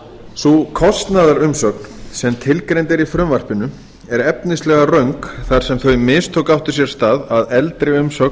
sú kostnaðarumsögn sem tilgreind er í frumvarpinu er efnislega röng þar sem þau mistök áttu sér stað að eldri umsögn